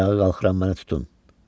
Ayağa qalxıram, məni tutun.